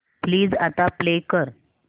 please आता play कर